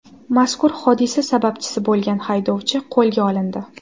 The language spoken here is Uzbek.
Mazkur hodisa sababchisi bo‘lgan haydovchi qo‘lga olindi.